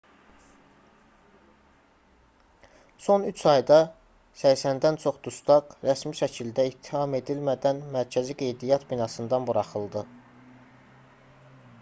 son 3 ayda 80-dən çox dustaq rəsmi şəkildə ittiham edilmədən mərkəzi qeydiyyat binasından buraxıldı